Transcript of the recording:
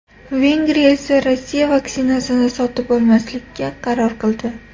Vengriya esa Rossiya vaksinasini sotib olmaslikka qaror qildi .